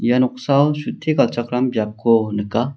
ia noksao galchakram biapko nika.